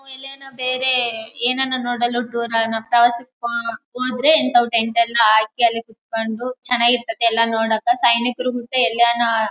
ಓ Elena ಬೇರೆ ಏನನ ನೋಡಲು ಟೂರ್ ಹೋದ್ರೆ ನಾವ್ ಟೆಂಟ್ ಹಾಕಿ ಎಲ್ಲ ಕುತ್ಕೊಂಡು ಚೆನ್ನಾಗ್ ಇರತೈತಿ ಎಲ್ಲ ನೋಡಾಕ ಸೈನಿಕರು ಜೊತೆ ಎಲ್ಲನ --